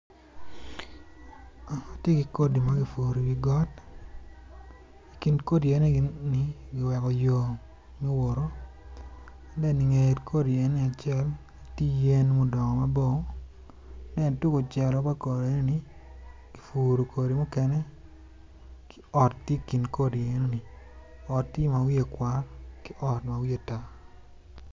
Watye ki kodi ma kipuro iwi got i kin kodi eni kiweko yo ma owoto inget kodi enoni acel tye yen a gudongo mabor tung kucelo pa kodi enoni kipuro kodi mukene ki ot tye i kin kodi enoni ot tye ma wiye kwar ki ot ma wiye tar.